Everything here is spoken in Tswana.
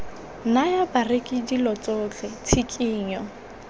naya bareki dilo tsotlhe tshikinyo